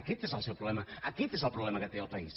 aquest és el seu problema aquest és el problema que té el país